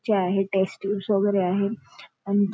चे आहे test tubes वगैरे आहे आण--